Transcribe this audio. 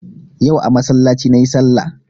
Yau a masallaci nayi sallah